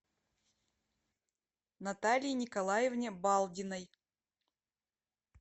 наталье николаевне балдиной